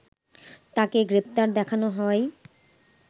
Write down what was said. তাকে গ্রেপ্তার দেখানো হয়